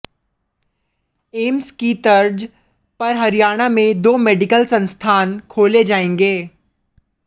AIIMS की तर्ज पर हरियाणा में दो मेडिकल संस्थान खोले जाएंगे